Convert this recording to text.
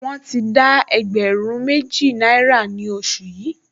Wọ́n ti dá ẹgbẹ̀rún méjì náírà ní oṣù yìí